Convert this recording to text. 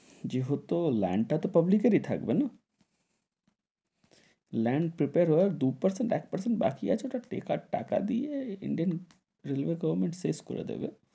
যেহতো land টা তো public কের এ থাকবে না, land prepare হওয়ার দু percent এক percent বাকি আছে, ওটা টেকার টাকা দিয়ে ইন্ডিয়ান রেলওয়ে গভর্মেন্ট শেষ করে দেবে,